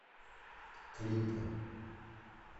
клипы